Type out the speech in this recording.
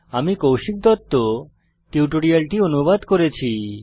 আমি কৌশিক দত্ত টিউটোরিয়ালটি অনুবাদ করেছি